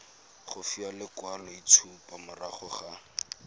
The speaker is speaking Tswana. go fiwa lekwaloitshupo morago ga